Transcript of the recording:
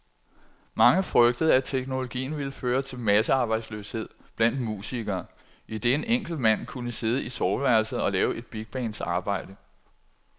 Mange frygtede, at teknologien ville føre til massearbejdsløshed blandt musikere, idet en enkelt mand kunne sidde i soveværelset og lave et bigbands arbejde.